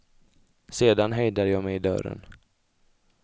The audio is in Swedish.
Sedan hejdade jag mig i dörren.